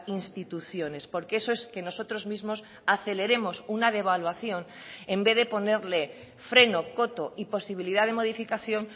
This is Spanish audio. instituciones porque eso es que nosotros mismos aceleremos una devaluación en vez de ponerle freno coto y posibilidad de modificación